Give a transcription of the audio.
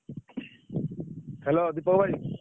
Hello Deepak ଭାଇ।